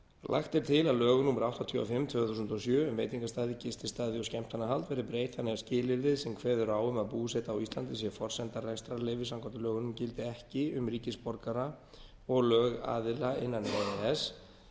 lagt er til að lögum númer áttatíu og fimm tvö þúsund og sjö um veitingastaði gististaði og skemmtanahald verði breytt þannig að skilyrðið sem kveður á um að búseta á íslandi sé forsenda rekstrarleyfis samkvæmt lögunum gildi ekki um ríkisborgara og lögaðila innan e